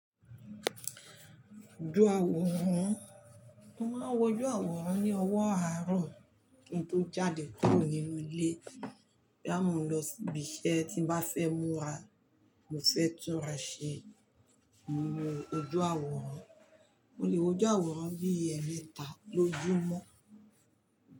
Ojú àwòrán, mo máa ń wojú àwòrán ní owó àárọ̀. Kin tó l jáde kúrò nínú ilé. Boya mo n lọ sibi iṣẹ́ tí ń bá fẹ́ múra, mo fẹ́ túnra ṣe, mo n wo ojú àwòrán. Mo lè wojú àwòrán bii emẹ́ta lójúmọ́.